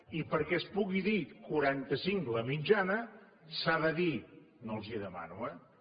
i perquè es pugui dir quaranta cinc la mitjana s’ha de dir no els ho demano eh